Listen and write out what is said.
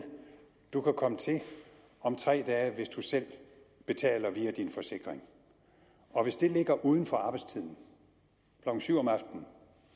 du kan komme til om tre dage hvis du selv betaler via din forsikring hvis det ligger uden for arbejdstiden klokken syv om aftenen